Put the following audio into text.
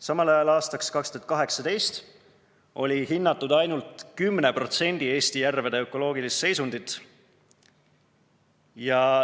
Samal ajal oli aastaks 2018 hinnatud ainult 10% Eesti järvede ökoloogilist seisundit.